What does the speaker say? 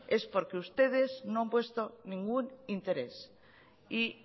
es porque ustedes no han puesto ningún interés y